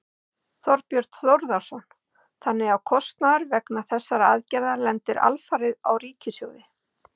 Þorbjörn Þórðarson: Þannig að kostnaður vegna þessarar aðgerðar lendir alfarið á ríkissjóði?